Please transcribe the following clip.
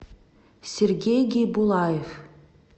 сергей гейбулаев